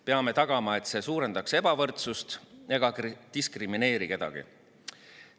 Peame tagama, et see suurendaks ebavõrdsust ega diskrimineeriks kedagi.